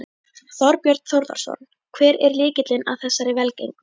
Þorbjörn Þórðarson: Hver er lykillinn að þessari velgengni?